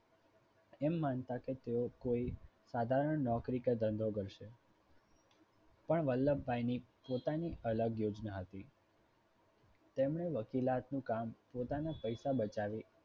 એમ માનતા કે તેઓ કોઈ સાધારણ નોકરી કે ધંધો કરશે. પણ વલ્લભભાઈની પોતાની અલગ યોજના હતી. તેમણે વકીલાતનું કામ પોતાના પૈસા બચાવી.